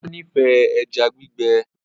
Ola n'ifẹ ejá gbígbé